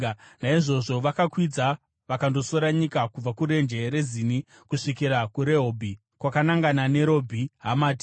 Naizvozvo vakakwidza vakandosora nyika kubva kurenje reZini kusvikira kuRehobhi, kwakanangana neRebho Hamati.